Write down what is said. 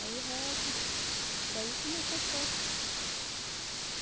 Aí rezam, daí começa a festa.